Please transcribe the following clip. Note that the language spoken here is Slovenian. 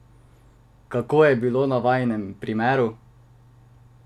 Kako je bilo na vajinem primeru?